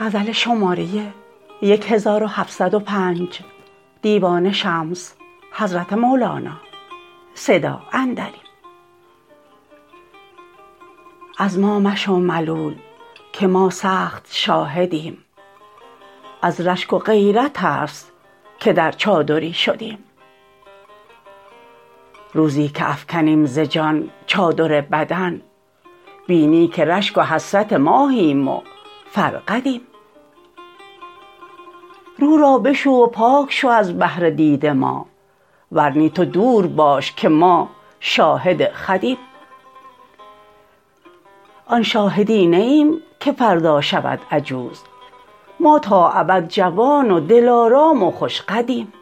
از ما مشو ملول که ما سخت شاهدیم از رشک و غیرت است که در چادری شدیم روزی که افکنیم ز جان چادر بدن بینی که رشک و حسرت ماهیم و فرقدیم رو را بشو و پاک شو از بهر دید ما ور نی تو دور باش که ما شاهد خودیم آن شاهدی نه ایم که فردا شود عجوز ما تا ابد جوان و دلارام و خوش قدیم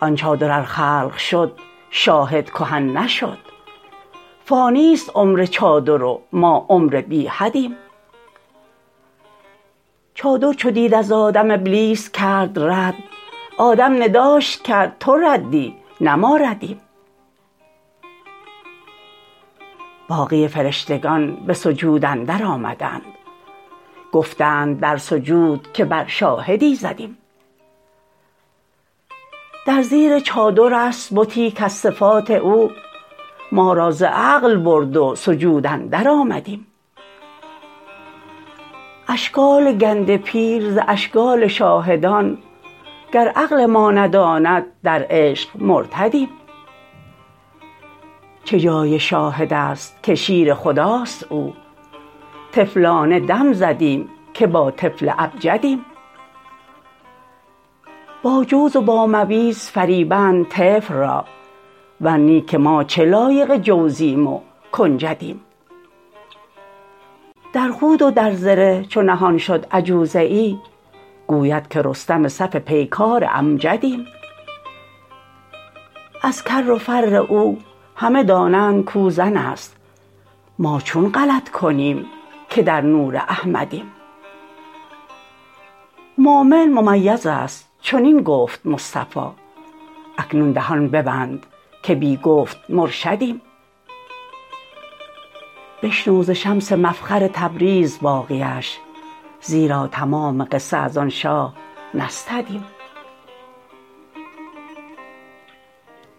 آن چادر ار خلق شد شاهد کهن نشد فانی است عمر چادر و ما عمر بی حدیم چادر چو دید از آدم ابلیس کرد رد آدم نداش کرد تو ردی نه ما ردیم باقی فرشتگان به سجود اندرآمدند گفتند در سجود که بر شاهدی زدیم در زیر چادر است بتی کز صفات او ما را ز عقل برد و سجود اندرآمدیم اشکال گنده پیر ز اشکال شاهدان گر عقل ما نداند در عشق مرتدیم چه جای شاهد است که شیر خداست او طفلانه دم زدیم که با طفل ابجدیم با جوز و با مویز فریبند طفل را ور نی که ما چه لایق جوزیم و کنجدیم در خود و در زره چو نهان شد عجوزه ای گوید که رستم صف پیکار امجدیم از کر و فر او همه دانند کو زن است ما چون غلط کنیم که در نور احمدیم مؤمن ممیز است چنین گفت مصطفی اکنون دهان ببند که بی گفت مرشدیم بشنو ز شمس مفخر تبریز باقیش زیرا تمام قصه از آن شاه نستدیم